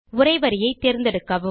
உரை வரியை தேர்ந்தெடுக்கவும்